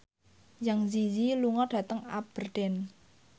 Zang Zi Yi lunga dhateng Aberdeen